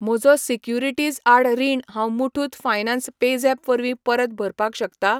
म्हजो सिक्युरिटीज आड रीण हांव मुठूत फायनान्स पेझॅप वरवीं परत भरपाक शकता?